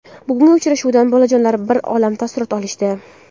Bugungi uchrashuvdan bolajonlar bir olam taassurot olishdi.